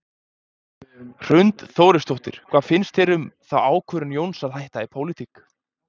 Hrund Þórsdóttir: Hvað finnst þér um þá ákvörðun Jóns að hætta í pólitík?